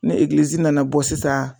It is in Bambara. Ni nana bɔ sisan.